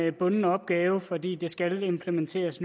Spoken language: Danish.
en bunden opgave fordi det nu skal implementeres